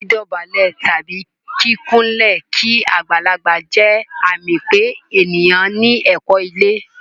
Dídọ̀bálẹ̀ tàbí kíkúnlẹ̀ kí agbàlagbà jẹ́ àmì pé ènìyàn ní ẹ̀kọ́ ilé.